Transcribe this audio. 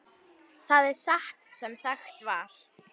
Það var satt sem sagt var.